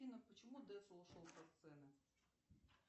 афина почему децл ушел со сцены